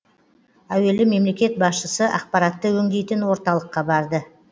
әуелі мемлекет басшысы ақпаратты өңдейтін орталыққа барды